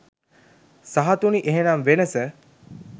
සහතුති එහෙනම් වෙනස?